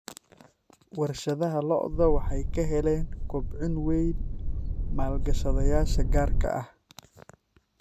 Warshadaha lo'da lo'da waxay ka heleen kobcin weyn maalgashadayaasha gaarka ah.